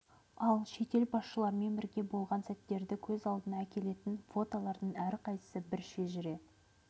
ал шетел басшыларымен бірге болған сәттерді көз алдыңа әкелетін фотолардың әрқайсысы бір шежіре